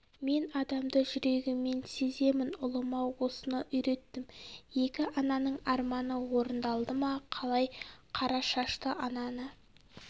мен адамды жүрегіммен сеземін ұлыма осыны үйреттім екі ананың арманы орындалды ма қалай қара шашты ананы